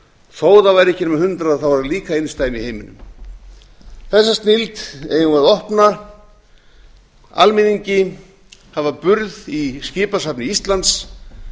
þó það væru ekki nema hundrað þá er það líka einsdæmi í heiminum þessa snilld eigum við að opna almenningi hafa burð í skipasafni íslands